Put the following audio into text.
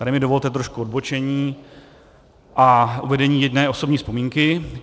Tady mi dovolte trošku odbočení a uvedení jedné osobní vzpomínky.